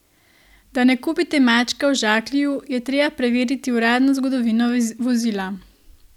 Da ne kupite mačka v žaklju, je treba preveriti uradno zgodovino vozila.